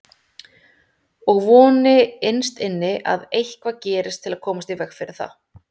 Og voni innst inni að eitthvað gerist til að koma í veg fyrir það.